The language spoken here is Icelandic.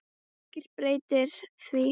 Ekkert breytir því.